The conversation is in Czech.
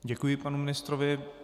Děkuji panu ministrovi.